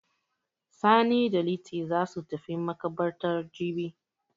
Sani da Liti za su tafi maƙabartar jibi.